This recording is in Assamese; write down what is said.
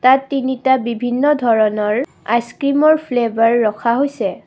ইয়াত তিনিটা বিভিন্ন ধৰণৰ আইছক্ৰীম ৰ ফ্লেভাৰ ৰখা হৈছে।